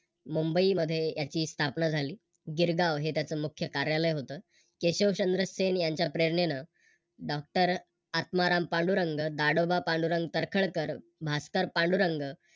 मुंबई मध्ये याची स्थापना झाली. गिरगाव हे त्याच मुख्य कार्यालय होतं. केशवचंद्र सेन यांच्या प्रेरणेने Doctor आत्माराम पांडुरंग, दादोबा पांडुरंग तळखरकर, भास्कर पांडुरंग